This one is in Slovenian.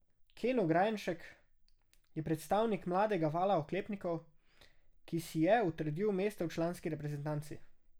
Ken Ograjenšek je predstavnik mladega vala oklepnikov, ki si je utrdil mesto v članski reprezentanci.